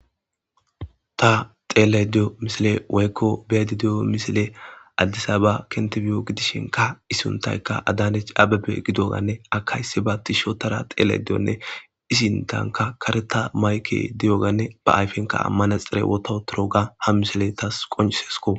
Ta xeelay diyo misile woykko beyadi diyo misile addisa ba kentebiyo gidishinka isuntayka adaanech ababe gidoganne akaysi ba ti sho tara xeelay diyonne isintanka kareta mayke diyoganne ba ayfenka ammana xire woto toroga ha misile tas qoncisesko